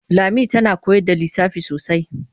Lami tana koyar da lissafi sosai.